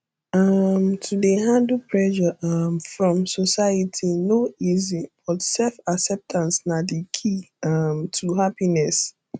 um to dey handle pressure um from society no easy but self acceptance na di key um to happiness